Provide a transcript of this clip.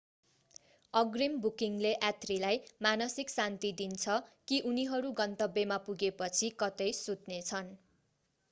अग्रिम बुकिङले यात्रीलाई मानसिक शान्ति दिन्छ कि उनीहरू गन्तव्यमा पुगेपछि कतै सुत्नेछन